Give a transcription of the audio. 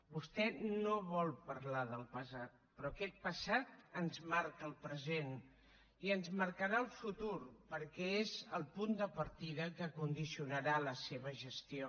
vostè no vol parlar del passat però aquest passat ens marca el present i ens marcarà el futur perquè és el punt de partida que condicionarà la seva gestió